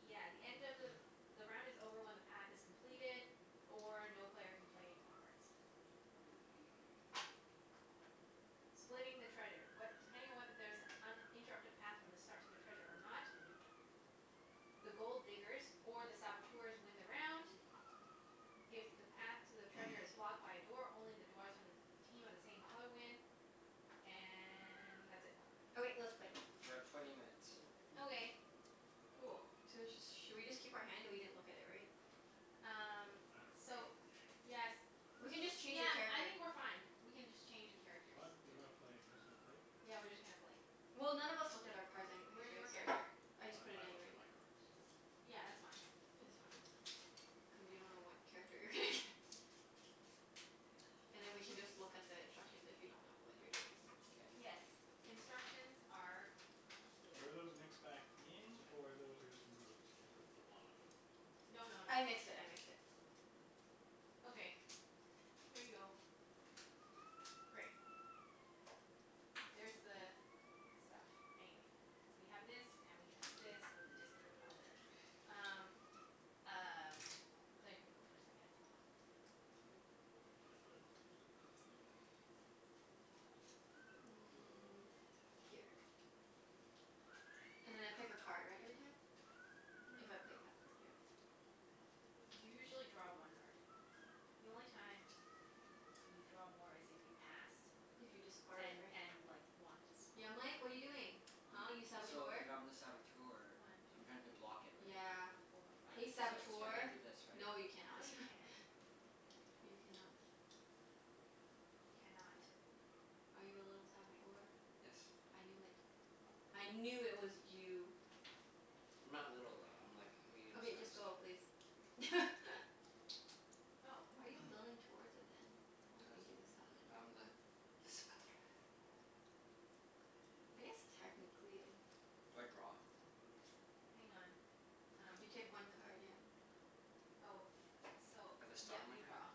yeah, the end of the the round is over when the path is completed or no player can play any more cards. Splitting the treasure. What, depending on whether there is an uninterrupted path from the start to the treasure or not the Gold Diggers or the Saboteurs win the round. If the path to the treasure is blocked by a door, only the dwarfs from the team of the same color win. And that's it. Okay. Let's K, play. we're at twenty minutes. Okay. Cool. So let's just Should we just keep our hand? We didn't look at it, right? It Um doesn't matter. We're playing So, open game. yes. Doesn't We can really just matter. change Yeah, the cards I here. think we're fine. We can just change the characters. What? You gonna Okay. play, you're just gonna play? Yeah, we're just gonna play. Well, none of us looked at our cards anyway, Where's your right? So character? I just We- put it I in looked at already. my cards. Yeah, that's fine. Oh, It's fine. okay. Cuz you don't know what character you're gonna get. Yeah. And then we can just look at the instructions if you don't know what you're doing. K. Yes. Instructions are here. Were those mixed back in, or those were just removed? And put to the bottom? No no no. I mixed it. I mixed it. Okay. Here you go. Great. There's the stuff. Anyways So we have this, and we have this, with the discard pile there. Um, y- um, Claire can go first I guess. Mm, here. And then I pick a card, right? Every time? Mhm. If I play a path card, yeah. You usually draw one card. The only time y- you draw more is if you passed If you discarded, and right? and like, want to swap. Yeah, Mike? What are you doing? Huh, you I'm, so, Saboteur? if I'm the Saboteur One two I'm trying to block it, three right? Yeah. four I, five Hey six so seven. so I Saboteur! can't do this, right? No, you cannot. No you can't. K. You cannot. You cannot. Are you a little Saboteur? Yes. I knew it. I knew it was you. I'm not little, though. I'm like, a medium Okay, just size. go please. Oh. Why are you building towards it, then? I don't Cuz think he's a Saboteur I'm the le Saboteur. I guess technically Do I draw? Hang on. Um, You can take I see one something? card, yeah. Oh, so, At the yeah, start of my you turn? draw.